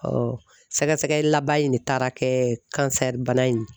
sɛgɛsɛgɛli laban in de taara kɛ bana in ye.